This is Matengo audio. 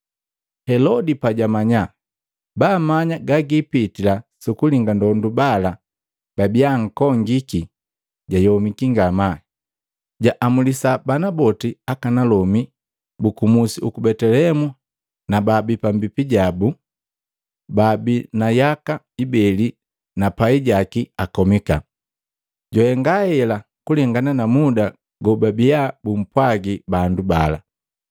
Helodi pajamanya baamanya gagipitila sukulinga ndondu bala babia ankongiki, jayomiki ngamaa. Jaamulisa bana boti akanalomi buku musi uku Betelehemu na baabii pambipi jabu, baabii na yaka ibeli na pai jaki akomika. Jwahenga hela kulengana na muda gobabia bumpwagi bandu bala.